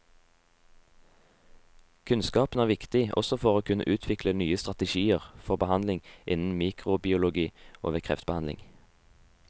Kunnskapen er viktig også for å kunne utvikle nye strategier for behandling, innen mikrobiologi og ved kreftbehandling.